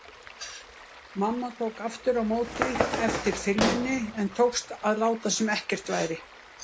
Mamma tók aftur á móti eftir filmunni en tókst að láta sem ekkert væri.